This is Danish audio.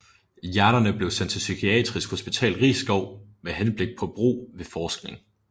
Hjernerne blev sendt til Psykiatrisk Hospital Risskov med henblik på brug ved forskning